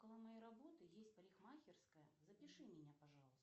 около моей работы есть парикмахерская запиши меня пожалуйста